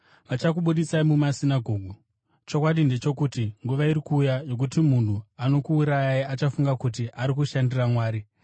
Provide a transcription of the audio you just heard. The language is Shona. Vachakubudisai musinagoge; chokwadi ndechokuti, nguva iri kuuya yokuti munhu anokuurayai achafunga kuti ari kushandira Mwari.